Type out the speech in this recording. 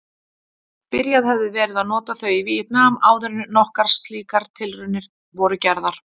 Byrjað hefði verið að nota þau í Víetnam áðuren nokkrar slíkar tilraunir voru gerðar.